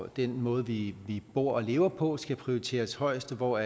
den måde vi bor og lever på skal prioriteres højest og hvor